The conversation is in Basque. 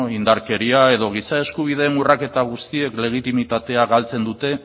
indarkeria edo giza eskubideen urraketa guztiek legitimitatea galtzen dute